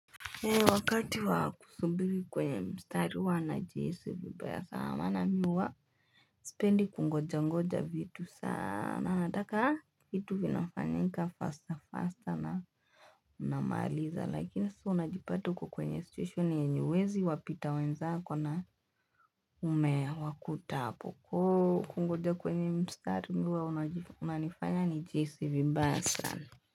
Heri wakati wa kusubiri kwenye mstari huwa najihisi vibaya sana na mimi huwa sipendi kungoja ngoja vitu sana nataka vitu vinafanyika faster faster na unamaliza lakini sasa unajipata uko kwenye situation yenye huwezi wapita wenzako na umewakuta hapo kungoja kwenye mstari huwa unanifanya nijihisi vibaya sana.